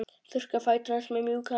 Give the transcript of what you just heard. Þurrkar fætur hans með mjúku handklæði.